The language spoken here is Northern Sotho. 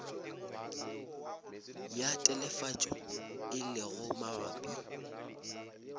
ya telefatšo e lego mabapi